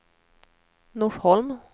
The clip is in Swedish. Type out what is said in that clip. Norsholm